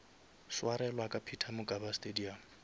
swarelwa ka peter mokaba stadium